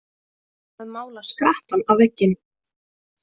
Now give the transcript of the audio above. Að mála skrattann á vegginn